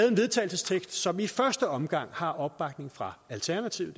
en vedtagelsestekst som i første omgang har opbakning fra alternativet